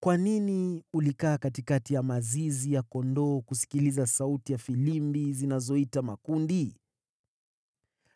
Kwa nini ulikaa katikati ya mazizi ya kondoo kusikiliza sauti ya filimbi zinazoita makundi?